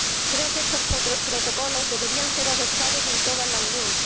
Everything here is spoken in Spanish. Creo que estos protocolos deberían ser adoptados en toda la Unión.